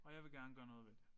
Og jeg vil gerne gøre noget ved det